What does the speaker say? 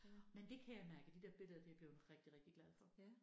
Men det kan jeg mærke de der billeder det jeg bleven rigtig rigtig glad for